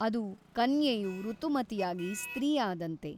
ಅದು ಕನ್ಯೆಯು ಋತುಮತಿಯಾಗಿ ಸ್ತ್ರೀ ಆದಂತೆ.